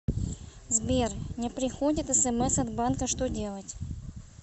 сбер не приходит смс от банка что делать